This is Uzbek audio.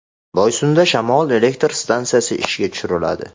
Boysunda shamol elektr stansiyasi ishga tushiriladi.